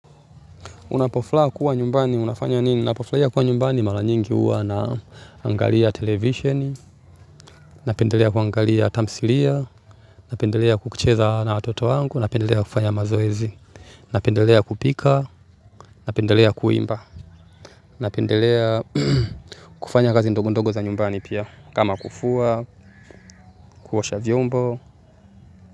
Unapofla kuwa nyumbani, unafanya nini? Unapofla kuwa nyumbani, mara nyingi huwa naangalia televisheni, napendelea kuangalia tamsilia, napendelea kukucheza na watoto wangu, napendelea kufanya mazoezi, napendelea kupika, napendelea kuimba, napendelea kufanya kazi ndogondogo za nyumbani pia, kama kufua, kuosha vyombo.